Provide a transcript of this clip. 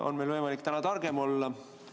On meil võimalik täna targem olla?